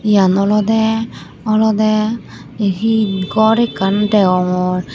yan olode olode ye he gor ekkan degongor.